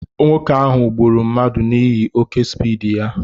Nwoke ahụ gburu mmadụ n'ihi oké spiidi ya